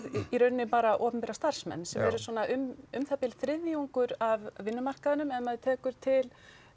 í raun bara opinbera starfsmenn sem eru svona um það bil þriðjungur af vinnumarkaðnum ef maður tekur til